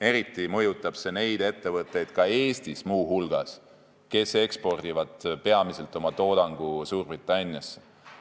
Eriti mõjutaks see neid ettevõtteid, Eestis muu hulgas, kes ekspordivad oma toodangut peamiselt Suurbritanniasse.